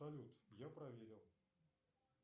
салют я проверил